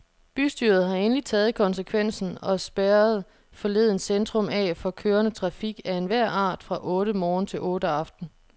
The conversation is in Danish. Bystyret har endelig taget konsekvensen og spærrerede forleden centrum af for kørende trafik af enhver art fra otte morgen til otte aften.